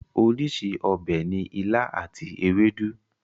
Orísìí ọbẹ̀ ni ilá àti ewédú.